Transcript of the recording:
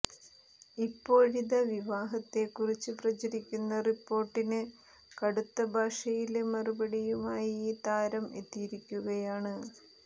ഇപ്പോഴിത വിവാഹത്തെ കുറിച്ച് പ്രചരിക്കുന്ന റിപ്പേര്ട്ടിന് കടുത്ത ഭാഷയില് മറുപടിയുമായി താരം എത്തിയിരിക്കുകയാണ്